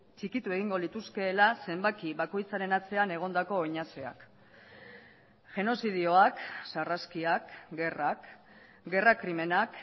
txikitu egingo lituzkeela zenbaki bakoitzaren atzean egondako oinazeak genozidioak sarraskiak gerrak gerra krimenak